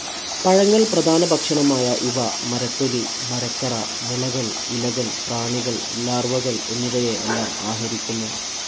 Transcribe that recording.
പഴങ്ങൾ പ്രധാനഭക്ഷണമായ ഇവ മരത്തൊലി മരക്കറ മുളകൾ ഇലകൾ പ്രാണികൾ ലാർവകൾ എന്നിവയെ എല്ലാം ആഹരിക്കുന്നു.